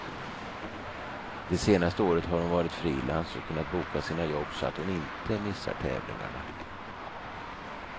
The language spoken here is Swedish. De senaste året har hon varit frilans och kunnat boka sina jobb så att hon inte missar tävlingarna.